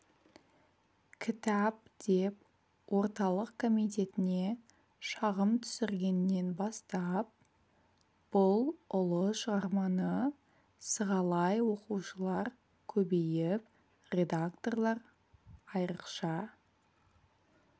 кітап деп орталық комитетіне шағым түсіргеннен бастап бұл ұлы шығарманы сығалай оқушылар көбейіп редакторлар айрықша